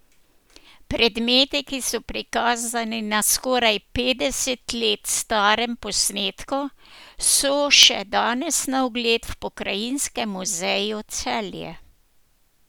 Predmeti, ki so prikazani na skoraj petdeset let starem posnetku, so še danes na ogled v Pokrajinskem muzeju Celje.